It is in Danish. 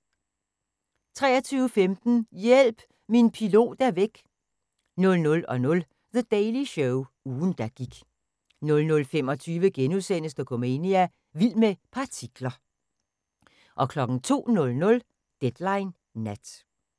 23:15: Hjælp! Min pilot er væk! 00:00: The Daily Show – ugen der gik 00:25: Dokumania: Vild med partikler * 02:00: Deadline Nat